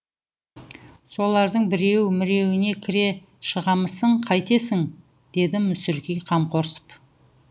солардың біреу міреуіне кіре шығамысың қайтесің дедім мүсіркей қамқорсып